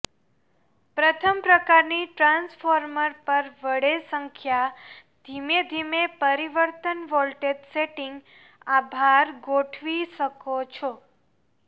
પ્રથમ પ્રકારની ટ્રાન્સફોર્મર પર વળે સંખ્યા ધીમે ધીમે પરિવર્તન વોલ્ટેજ સેટિંગ્સ આભાર ગોઠવી શકો છો